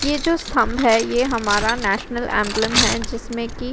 ये जो स्तंभ है ये हमारा नेशनल एम्ब्लम है जिसमे कि --